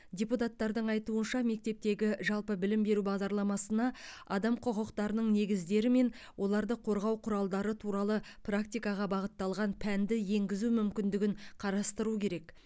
депутаттардың айтуынша мектептегі жалпы білім беру бағдарламасына адам құқықтарының негіздері мен оларды қорғау құралдары туралы практикаға бағытталған пәнді енгізу мүмкіндігін қарастыру керек